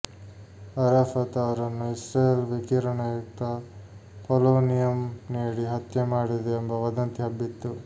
ಅರಾಫತ್ ಅವರನ್ನು ಇಸ್ರೇಲ್ ವಿಕಿರಣಯುಕ್ತ ಪೋಲೋನಿಯಂ ನೀಡಿ ಹತ್ಯೆ ಮಾಡಿದೆ ಎಂಬ ವದಂತಿ ಹಬ್ಬಿತ್ತು